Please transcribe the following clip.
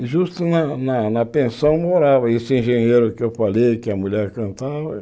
Justo na na na pensão morava esse engenheiro que eu falei, que a mulher cantava.